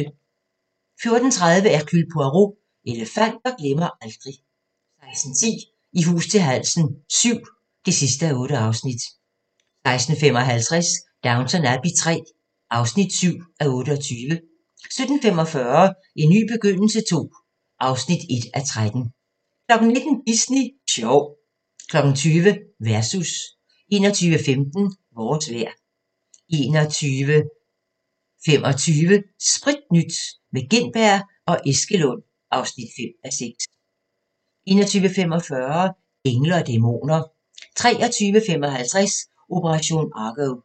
14:30: Hercule Poirot: Elefanter glemmer aldrig 16:10: I hus til halsen VII (8:8) 16:55: Downton Abbey III (7:28) 17:45: En ny begyndelse II (1:13) 19:00: Disney sjov 20:00: Versus 21:15: Vores vejr 21:25: Spritnyt – med Gintberg og Eskelund (5:6) 21:45: Engle & dæmoner 23:55: Operation Argo